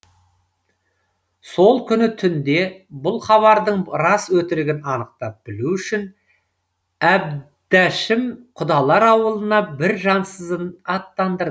сол күні түнде бұл хабардың рас өтірігін анықтап білу үшін әбдәшім құдалар ауылына бір жансызын аттандырды